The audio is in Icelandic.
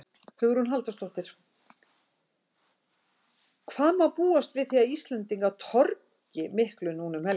Hugrún Halldórsdóttir: Hvað má búast við því að Íslendingar torgi miklu núna um helgina?